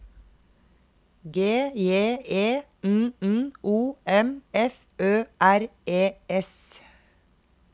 G J E N N O M F Ø R E S